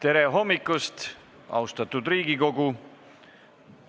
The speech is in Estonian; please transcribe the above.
Tere hommikust, austatud Riigikogu!